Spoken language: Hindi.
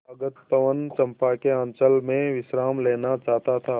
दूरागत पवन चंपा के अंचल में विश्राम लेना चाहता था